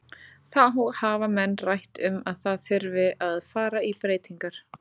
Þá hafa menn rætt um að það þurfi að fara í breytingar.